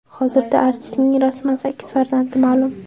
Hozirda artistning rasman sakkiz farzandi ma’lum.